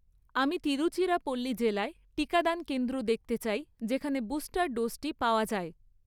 আমি তিরুচিরাপল্লি জেলায় টিকাদান কেন্দ্র দেখতে চাই যেখানে বুস্টার ডোজ টি পাওয়া যায়